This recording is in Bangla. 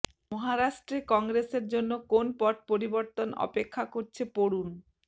মহারাষ্ট্রে কংগ্রেসের জন্য কোন পট পরিবর্তন অপেক্ষা করছে পড়ুন